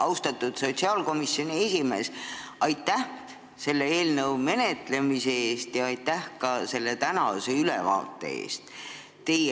Austatud sotsiaalkomisjoni esimees, aitäh selle eelnõu menetlemise eest ja ka tänase ülevaate eest!